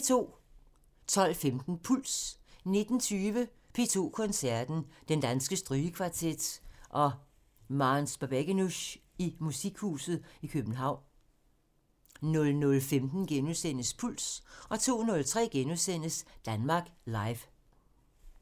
12:15: Puls 19:20: P2 Koncerten – Den Danske Strygekvartet og Mames Babegenush i Musikhuset København 00:15: Puls * 02:03: Danmark Live *